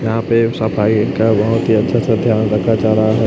यहां पे एक सफाई का बहोत ही अच्छे से ध्यान रखा जा रहा है।